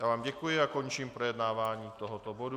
Já vám děkuji a končím projednávání tohoto bodu.